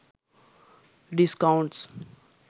discounts